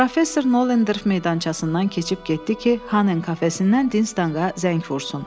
Professor Noderf meydançasından keçib getdi ki, kafesindən Dinzə zəng vursun.